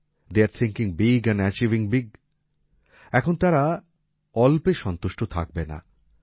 the are thinking big and achieving big এখন তারা আর অল্পে সন্তুষ্ট থাকবে না